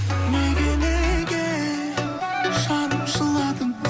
неге неге жаным жыладың